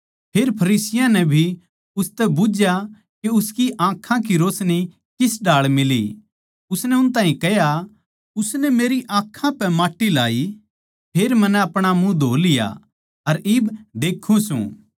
फेर फरीसियाँ नै भी उनतै बुझ्झया के उसकी आँखां की रोशनी किस ढाळ मिली उसनै उन ताहीं कह्या उसनै मेरी आँखां पै माट्टी लाई फेर मन्नै अपणा मुँह धो लिया अर इब देक्खूँ सूं